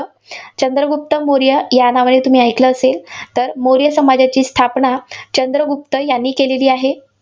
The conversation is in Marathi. चंद्रगुप्त मौर्य या नावाने तुम्ही ऐकलं असेल? तर मौर्य सामाजाची स्थापना चंद्रगुप्त यांनी केलेली आहे.